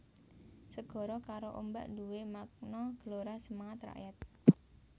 Segara karo ombak nduwè makna gelora semangat rakyat